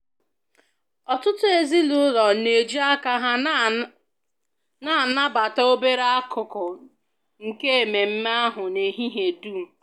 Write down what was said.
Ọtụtụ ezinụlọ na-eji aka ha na-anabata obere akụkụ nke ememe ahụ n'ehihie dum